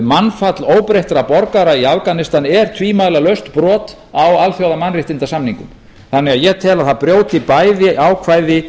mannfall óbreyttra borgara í afganistan er tvímælalaust brot á alþjóðamannréttindasamningum ég tel því að það brjóti bæði ákvæði